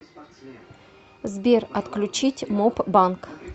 сбер отключить моб банк